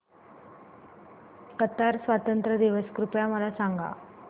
Qatar स्वातंत्र्य दिवस कृपया मला सांगा